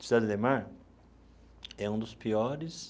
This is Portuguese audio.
Cidade Ademar é um dos piores